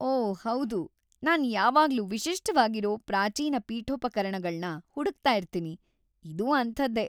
ಓ ಹೌದು! ನಾನ್ ಯಾವಾಗ್ಲೂ ವಿಶಿಷ್ಟವಾಗಿರೋ ಪ್ರಾಚೀನ ಪೀಠೋಪಕರಣಗಳ್ನ ಹುಡುಕ್ತಾ ಇರ್ತೀನಿ. ಇದೂ ಅಂಥದ್ದೇ!